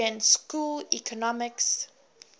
austrian school economists